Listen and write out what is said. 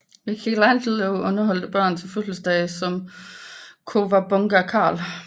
Michelangelo underholder børn til fødselsdage som Cowabunga Karl